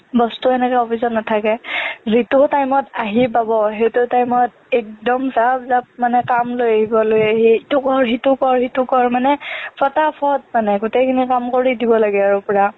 boss টো হেনেকে office ত নেথাকে যিটো time ত আহি পাব সেইটো time ত একদম মানে জাপ জাপ কাম লৈ আহিব লৈ আহি ইটো কৰ সিটো কৰ সিটো কৰ মানে ফটাফট মানে গোটেইখিনি কাম কৰি দিব লাগে আৰু পুৰা